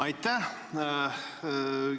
Aitäh!